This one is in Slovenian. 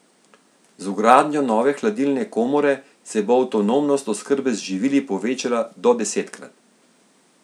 Z vgradnjo nove hladilne komore se bo avtonomnost oskrbe z živili povečala do desetkrat.